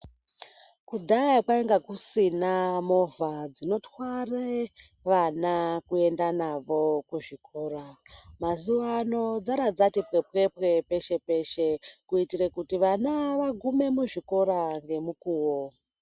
Kudhaya kwainga kusina movha dzinotware vana kuenda navo kuzvikora. Mazuva ano dzabva dzati pwepwepwe peshe-peshe, kuitira kutivana vagume muzvikora ngemukuvo.